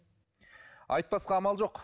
айтпасқа амал жоқ